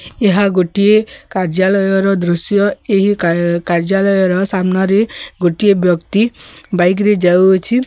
ଏହା ଗୋଟିଏ କାର୍ଯ୍ୟାଳୟର ଦୃଶ୍ୟ। ଏହି କା କାର୍ଯ୍ୟାଳୟର ସାମ୍ନାରେ ଗୋଟିଏ ବ୍ୟକ୍ତି ବାଇକ୍ ରେ ଯାଉଅଛି।